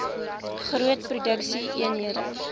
groot produksie eenhede